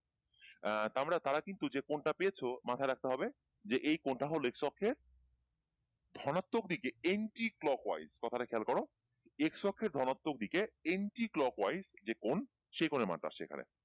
আহ আমরা তারা কিন্তু যেকোণটা পেয়েছো মাথায় রাখতে হবে যে এই কোণটা হলো x অক্ষের ধনাত্মক দিকে anti clockwise কথাটা খেয়াল করো x অক্ষের ধনাত্মক দিকে anti clockwise যে কোণ সেই কোণের মান টা আসছে এখানে,